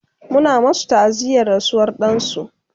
Muna masu ta'aziyar rasuwar dansu